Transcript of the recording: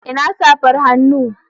Ina safar hannu?